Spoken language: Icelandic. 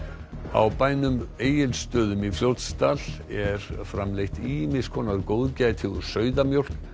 á bænum Egilsstöðum í Fljótsdal er framleitt ýmiss konar góðgæti úr sauðamjólk